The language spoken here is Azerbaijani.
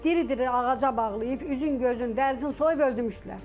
Diri-diri ağaca bağlayıb, üzün, gözün, dərsin soyub öldürmüşdülər.